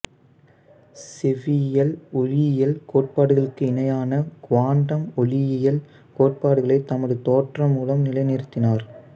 செவ்வியல் ஒளியியல் கோட்பாடுகளுக்கு இணையான குவாண்டம் ஒளியியல் கோட்பாடுகளைத் தமது தேற்றம் மூலம் நிலைநிறுத்தினார்